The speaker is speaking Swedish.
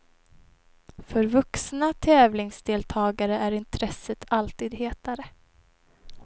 För vuxna tävlingsdeltagare är intresset alltid hetare.